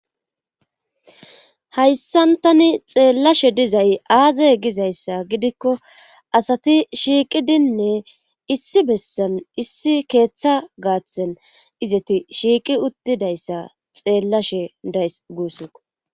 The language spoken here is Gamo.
hayssantani xeellashe dizay aazay gizayssa gidikko asati shiiqidinne issi bessan issi keeththa gaathen izeti shiiqi uttidayssa xeellashe days guuss